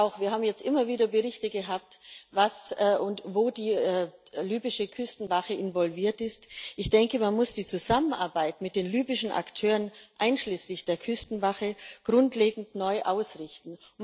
Wir haben jetzt immer wieder Berichte gehabt, in was und wo die libysche Küstenwache involviert ist. Ich denke, man muss die Zusammenarbeit mit den libyschen Akteuren einschließlich der Küstenwache grundlegend neu ausrichten.